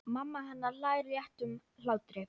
Mamma hennar hlær léttum hlátri.